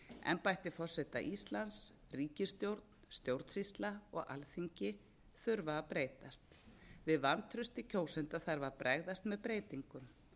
embætti forseta íslands ríkisstjórn stjórnsýsla og alþingi þurfa að breytast við vantrausti kjósenda þarf að bregðast með breytingum